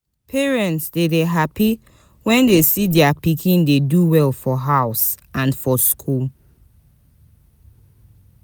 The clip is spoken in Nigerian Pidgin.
Parents de dey happy when dem de see their pikin dey do well for house and for school